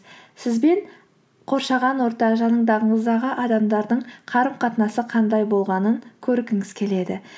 сіз бен қоршаған орта жанындағыңыздағы адамдардың қарым қатынасы қандай болғанын көргіңіз келеді